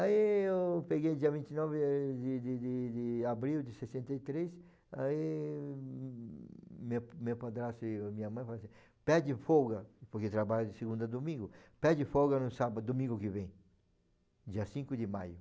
Aí eu peguei dia vinte e nove de de de abril de sessenta e três, aí meu meu padrasto e a minha mãe falaram assim, pede folga, porque trabalha de segunda a domingo, pede folga no sábado, domingo que vem, dia cinco de maio.